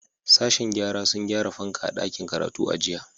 Sashen gyara sun gyara fanka a dakin karatu a jiya.